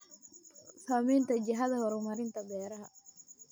Saamaynta jihada horumarinta beeraha.